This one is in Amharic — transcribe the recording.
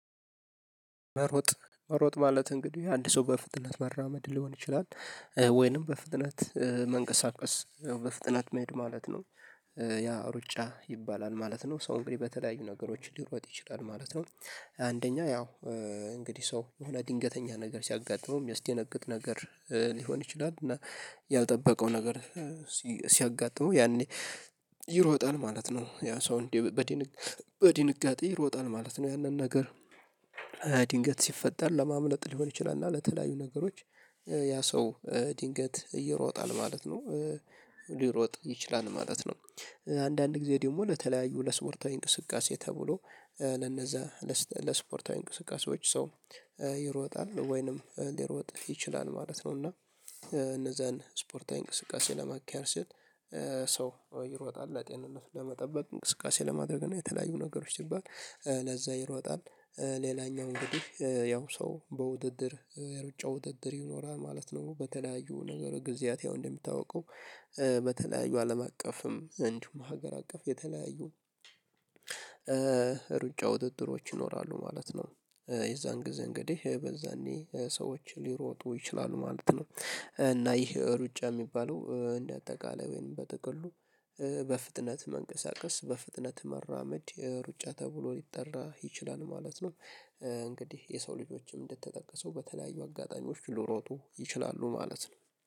ሮጥ መሮጥ ማለት እንግዲህ አንድ ሰው በፍጥነት መራመድ ሊሆን ይችላል ወይንም በፍጥነት መንቀሳቀስ በፍጥነት መሄድ ማለት ነው። ያ ሩጫ ይባላል ማለት ነው ሰው እንግዲህ በተለያዩ ነገሮች ሊሮጥ ይችላል ማለት ነው። አንደኛ ያው እንግዲህ ሰው የሆነ ድንገተኛ ነገር ሲያጋጥመው የሚያስደነግጥ ነገር ሊሆን ይችላል እና ያልጠበቀው ነገር ሲሲ ሲያጋጥመው ያኔ ይሮጣል ማለት ነው። ያ ሰው እንዴ በድንግ በድንጋጤ ይሮጣል ማለት ነው። ያንን ነገር ድንገት ሲፈጠር ለማምለጥ ሊሆን ይችላል እና ለተለያዩ ነገሮች ያ ሰው ድንገት ይሮጣል ማለት ነው። ሊሮጥ ይችላል ማለት ነው። አንዳንድ ጊዜ ደግሞ ለተለያዩ ለስፖርታዊ እንቅስቃሴ ተብሎ ለነዛ ለስ ለስፖርታዊ እንቅስቃሴዎች ሰው ይሮጣል ወይንም ሊሮጥ ይችላል ማለት ነው። እና እነዛን ስፖርታዊ እንቅስቃሴ ለማካሄድ ሲል ሰው ይሮጣል ለጤንነት ለመጠበቅ እንቅስቃሴ ለማድረግ ነው። የተለያዩ ነገሮች ሲባል ለዛ ይሮጣል። ሌላኛው እንግዲህ ያው ሰው በውድድር የሩጫ ውድድር ይኖራል ማለት ነው። በተለያዩ ነገር ጊዜያት ያው እንደሚታውቀው በተለያዩ አለም አቀፍም እንዲሁም ሀገር አቀፍ የተለያዩ ሩጫ ውድድሮች ይኖራሉ ማለት ነው። የዛን ጊዜ እንግዲህ በዛኔ ሰዎች ሊሮጡ ይችላሉ ማለት ነው። እና ይህ ሩጫ የሚባለው እንደ አጠቃላይ ወይም በጥቅሉ በፍጥነት መንቀሳቀስ በፍጥነት መራመድ ሩጫ ተብሎ ሊጠራ ይችላል ማለት ነው። እንግዲህ የሰው ልጆችም እንደተጠቀሰው በተለያዩ አጋጣሚዎች ሊሮጡ ይችላሉ ማለት ነው